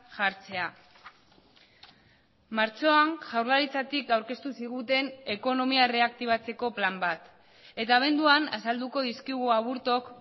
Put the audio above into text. jartzea martxoan jaurlaritzatik aurkeztu ziguten ekonomia erreaktibatzeko plan bat eta abenduan azalduko dizkigu aburtok